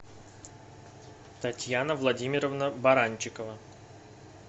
татьяна владимировна баранчикова